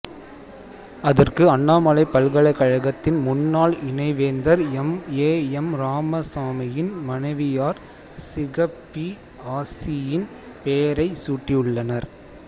அதற்கு அண்ணாமலைப் பல்கலைக்கழகத்தின் முன்னாள் இணைவேந்தர் எம் ஏ எம் ராமசாமியின் மனைவியார் சிகப்பி ஆச்சியின் பெயரைச் சூட்டியுள்ளனர்